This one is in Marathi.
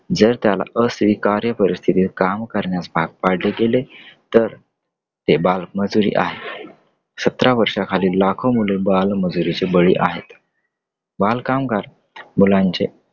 जर त्याला अस्वीकार्य परिस्थितीत काम करण्यास भाग पाडले गेले तर ते बालमजुरी आहे. सतरा वर्षाखालील लाखो मुले बालमजुरीची बळी आहेत . बालकामगार मुलांचे